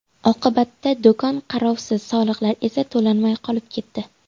Oqibatda do‘kon qarovsiz, soliqlar esa to‘lanmay qolib ketdi.